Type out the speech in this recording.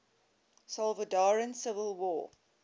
salvadoran civil war